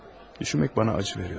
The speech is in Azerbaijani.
Düşünmək mənə ağrı verir.